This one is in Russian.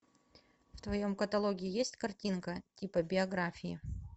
в твоем каталоге есть картинка типа биографии